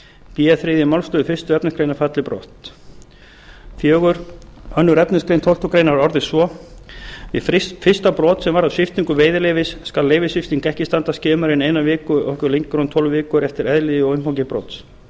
b þriðja málsl fyrstu efnismgr falli brott fjórðu annar efnismgr tólftu grein orðist svo við fyrsta brot sem varðar sviptingu veiðileyfis skal leyfissvipting ekki standa skemur en eina viku og ekki lengur en tólf vikur eftir eðli og umfangi brots